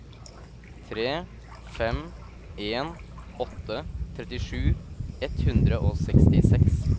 tre fem en åtte trettisju ett hundre og sekstiseks